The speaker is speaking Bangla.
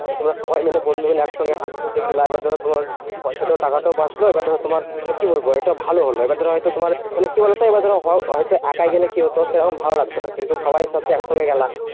যে তোমরা সবাই মিলে বন্ধু মিলে একসঙ্গে হাঁটতে হাঁটতে গিলা। এবার ধরো তোমার পয়সাটা টাকাটাও বাঁচলো। এবার ধরো তোমার মানে কি বলবো? একটা ভালো হলো। এবার ধরো হয়তো মানে কি বলতো? এবার ধরো হয়~ হয়ত একাই গেলে কি হতো? সেরকম ভালো লাগতো না। কিন্তু সবাইর সাথে সকসঙ্গে গেলা